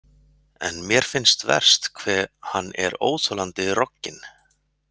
En mér finnst verst hve hann er óþolandi rogginn.